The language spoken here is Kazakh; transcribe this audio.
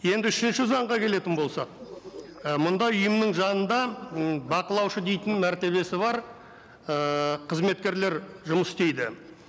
енді үшінші заңға келетін болсақ і мұннда ұйымның жанында м бақылаушы дейтін мәртебесі бар ііі қызметкерлер жұмыс істейді